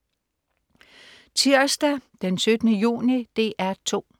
Tirsdag den 17. juni - DR 2: